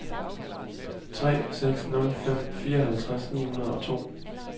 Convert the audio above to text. tre seks nul fem fireoghalvtreds ni hundrede og to